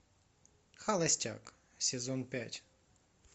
холостяк сезон пять